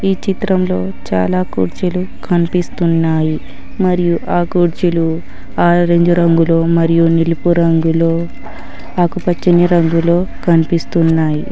ఈ చిత్రంలో చాలా కూర్జీలు కనిపిస్తున్నాయి మరియు ఆ కుర్చీలు ఆరెంజ్ రంగులో మరియు నిలుపు రంగులో ఆకుపచ్చని రంగులో కన్పిస్తున్నాయి.